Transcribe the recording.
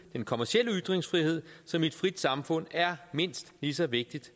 kommercielle ytringsfrihed som i et frit samfund er mindst lige så vigtig